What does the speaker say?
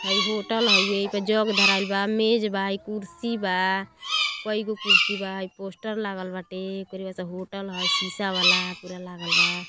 हइ होटल हौवे एपे जग धराईल बा मेज़ बा ई कुर्सी बा कई गो कुर्सी बा इ पोस्टर लागल बाटे ओकरी बाद से होटल ह शीशा वाला पूरा लागल बा।